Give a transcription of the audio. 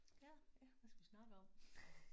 Ja ja hvad skal vi snakke om?